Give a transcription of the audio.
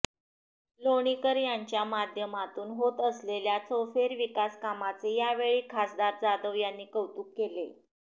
लोणीकर यांच्या माध्यमातून होत असलेल्या चौफेर विकास कामाचे यावेळी खासदार जाधव यांनी कौतुक केले